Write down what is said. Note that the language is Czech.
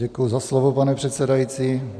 Děkuji za slovo, pane předsedající.